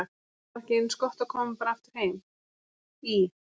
Var þá ekki eins gott að koma bara aftur heim í